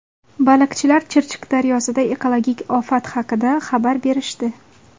Baliqchilar Chirchiq daryosida ekologik ofat haqida xabar berishdi.